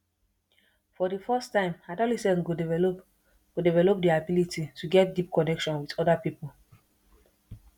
for di first time adolescent go develop go develop their ability to get deep connection with oda pipo